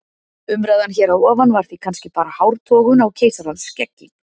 Umræðan hér að ofan var því kannski bara hártogun á keisarans skeggi.